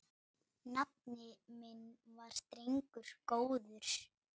Nafni minn var drengur góður.